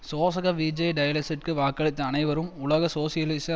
சோசக விஜே டயஸிற்கு வாக்களித்த அனைவரும் உலக சோசியலிச